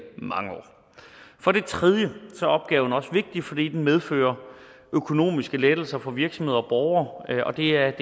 mange år for det tredje er opgaven også vigtig fordi den medfører økonomiske lettelser for virksomheder og borgere og det er